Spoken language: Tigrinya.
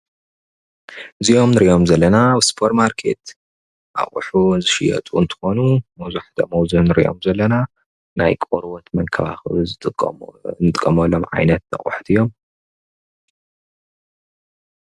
እዚም እንሪኦም ዘለና ሱፐር ማርኬት አቑሑ ዝሽየጡ እንትኾኑ፣ መብዛሕትኦም አብዚ አእንሪኦም ዘለና ናይ ቆርበት መንከባከቢ እንጥቀመሎም ዓይነት አቑሑት እዮም።